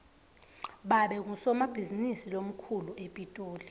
babe ngusomabhizinisi lomkhulu epitoli